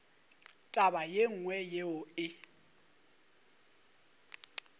taba ye nngwe yeo e